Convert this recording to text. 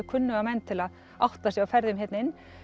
kunnuga menn til að átta sig á ferðum hérna inn